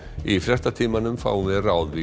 í fréttatímanum fáum við ráð við